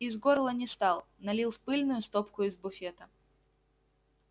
из горла не стал налил в пыльную стопку из буфета